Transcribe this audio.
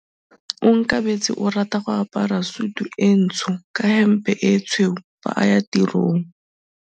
Onkabetse o rata go apara sutu e ntsho ka hempe e tshweu fa a ya tirong.